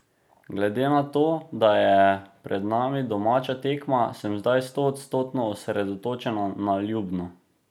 Glede na to, da je pred nami domača tekma, sem zdaj stoodstotno osredotočena na Ljubno.